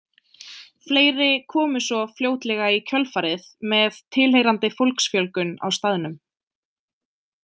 Fleiri komu svo fljótlega í kjölfarið með tilheyrandi fólksfjölgun á staðnum.